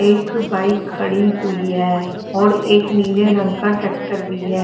एक बाइक खड़ी हुई है और एक नीले रंग का ट्रैक्टर भी है।